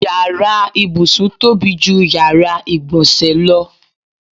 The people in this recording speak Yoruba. Yàrá ìbùsùn tóbi ju yàrá ìgbọ̀nsẹ̀ lọ.